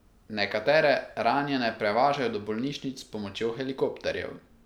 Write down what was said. Nekatere ranjene prevažajo do bolnišnic s pomočjo helikopterjev.